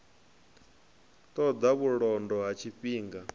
ṱo ḓa vhulondo ha tshifhinga